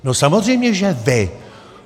No samozřejmě, že vy!